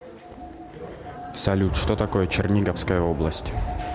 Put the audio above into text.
салют что такое черниговская область